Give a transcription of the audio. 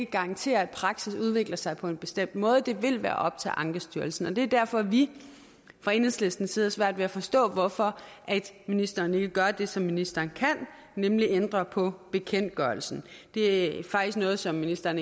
garantere at praksis udvikler sig på en bestemt måde det vil være op til ankestyrelsen og det er derfor at vi fra enhedslistens side har svært ved at forstå hvorfor ministeren ikke gør det som ministeren kan nemlig at ændre på bekendtgørelsen det er faktisk noget som ministeren